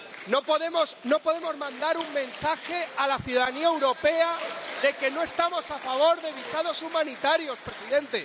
No podemos mandar un mensaje a la ciudadanía europea de que no estamos a favor de los visados humanitarios, presidente.